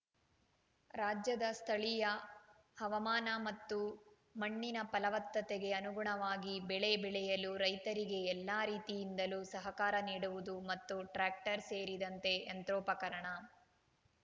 ರಾಜ್ಯದ ಸ್ಥಳೀಯ ಹವಾಮಾನ ಮತ್ತು ಮಣ್ಣಿನ ಫಲವತ್ತತೆಗೆ ಅನುಗುಣವಾಗಿ ಬೆಳೆ ಬೆಳೆಯಲು ರೈತರಿಗೆ ಎಲ್ಲಾ ರೀತಿಯಿಂದಲೂ ಸಹಕಾರ ನೀಡುವುದು ಮತ್ತು ಟ್ರ್ಯಾಕ್ಟರ್‌ ಸೇರಿದಂತೆ ಯಂತ್ರೋಪಕರಣ